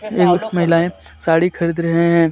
महिलाएं साड़ी खरीद रहे हैं.